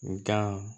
Nka